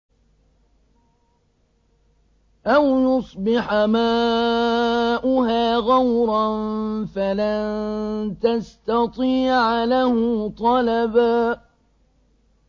أَوْ يُصْبِحَ مَاؤُهَا غَوْرًا فَلَن تَسْتَطِيعَ لَهُ طَلَبًا